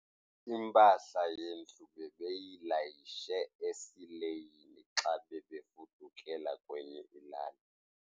Impahla yendlu bebeyilayishe esileyini xa bebefudukela kwenye ilali.